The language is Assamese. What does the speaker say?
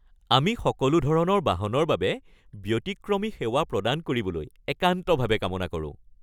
আমি সকলো ধৰণৰ বাহনৰ বাবে ব্যতিক্ৰমী সেৱা প্ৰদান কৰিবলৈ একান্তভাৱে কাম কৰোঁ।